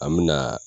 An me na